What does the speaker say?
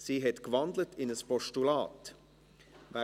Sie hat in ein Postulat gewandelt.